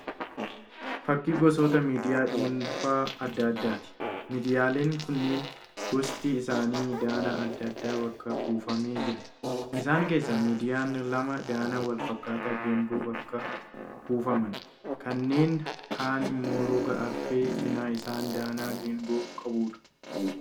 Fakkii gosoota miidiyaa dhuunfaa adda addaati. Miidiyaaleen kunneen gosti isaanii danaa adda addaan bakka buufamee jira. Isaan keessaa: miidiyaan lama danaa wal fakkaataa geengoon bakka buufaman. Kanneen kahaan immoo roga arfee cina isaan danaa geengoo qabuudha.